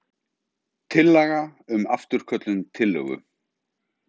Tillaga um afturköllun tillögu.